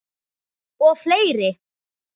Og fleiri.